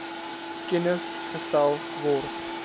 kennis gestel word